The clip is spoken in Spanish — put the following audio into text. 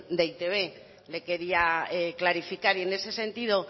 de e i te be le quería clarificar y en ese sentido